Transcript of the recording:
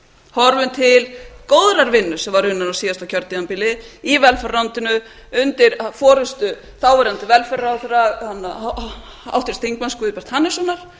horfum til góðrar vinnu sem var raunar á síðasta kjörtímabili í velferðarráðuneytinu undir forustu þáverandi velferðarráðherra háttvirts þingmanns guðbjarts hannessonar